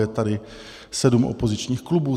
Je tady sedm opozičních klubů.